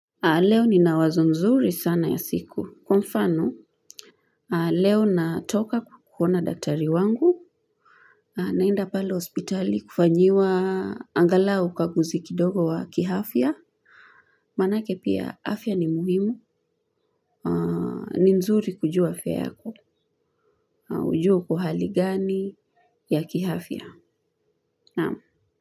Leo nina wazo nzuri sana ya siku. Kwa mfano, leo natoka kuona daktari wangu, naenda pale hospitali kufanyiwa angalau ukaguzi kidogo wa kiafya. Manake pia afya ni muhimu. Ni nzuri kujua afya yako. Ujue uko hali gani ya ki afya.